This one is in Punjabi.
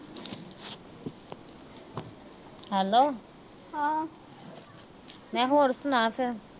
hello ਮੈਂ ਕਿਹਾ ਹੋਰ ਸੁਣਾ ਫਿਰ।